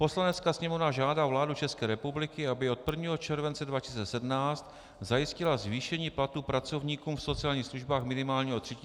"Poslanecká sněmovna žádá vládu České republiky, aby od 1. července 2017 zajistila zvýšení platů pracovníkům v sociálních službách minimálně o 3 000 měsíčně."